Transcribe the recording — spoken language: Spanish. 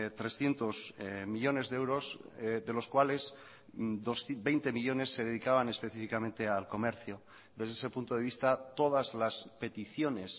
trescientos millónes de euros de los cuales veinte millónes se dedicaban específicamente al comercio desde ese punto de vista todas las peticiones